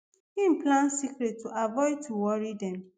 im plans secret to avoid to worry dem